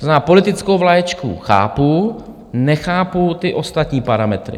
To znamená, politickou vlaječku chápu, nechápu ty ostatní parametry.